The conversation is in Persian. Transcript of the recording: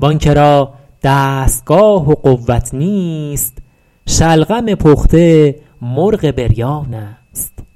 وآن که را دستگاه و قوت نیست شلغم پخته مرغ بریان است